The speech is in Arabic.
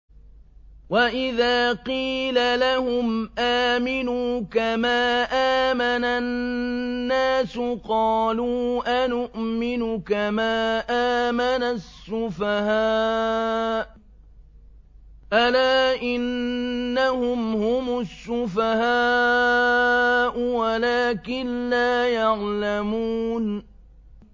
وَإِذَا قِيلَ لَهُمْ آمِنُوا كَمَا آمَنَ النَّاسُ قَالُوا أَنُؤْمِنُ كَمَا آمَنَ السُّفَهَاءُ ۗ أَلَا إِنَّهُمْ هُمُ السُّفَهَاءُ وَلَٰكِن لَّا يَعْلَمُونَ